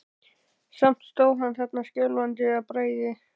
Samt stóð hann þarna skjálfandi af bræði.